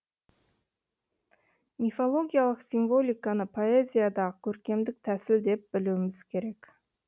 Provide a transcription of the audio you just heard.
мифологиялық символиканы поэзиядағы көркемдік тәсіл деп білуіміз керек